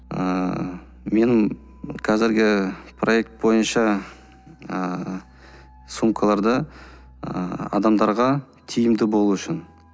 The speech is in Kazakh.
ыыы менің қазіргі проект бойынша ыыы сумкаларды ыыы адамдарға тиімді болу үшін